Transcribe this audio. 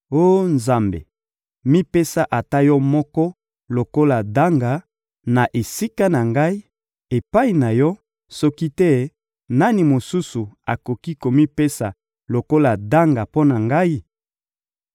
Oh Nzambe, mipesa ata Yo moko lokola ndanga, na esika na ngai, epai na Yo; soki te, nani mosusu akoki komipesa lokola ndanga mpo na ngai!